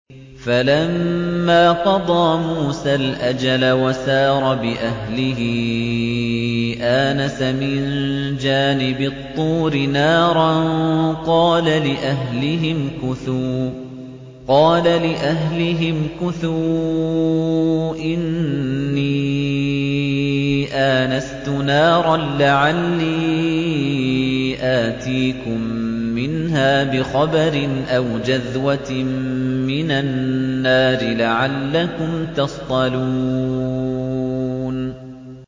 ۞ فَلَمَّا قَضَىٰ مُوسَى الْأَجَلَ وَسَارَ بِأَهْلِهِ آنَسَ مِن جَانِبِ الطُّورِ نَارًا قَالَ لِأَهْلِهِ امْكُثُوا إِنِّي آنَسْتُ نَارًا لَّعَلِّي آتِيكُم مِّنْهَا بِخَبَرٍ أَوْ جَذْوَةٍ مِّنَ النَّارِ لَعَلَّكُمْ تَصْطَلُونَ